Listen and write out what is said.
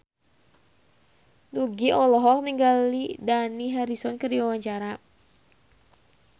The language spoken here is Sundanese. Nugie olohok ningali Dani Harrison keur diwawancara